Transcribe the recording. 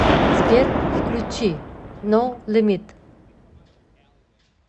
сбер включи ноу лимит